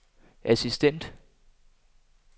assistent